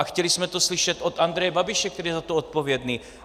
A chtěli jsme to slyšet od Andreje Babiše, který je za to odpovědný.